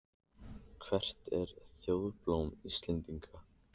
Hvert er þjóðarblóm Íslendinga?